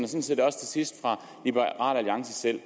set også til sidst fra liberal alliance selv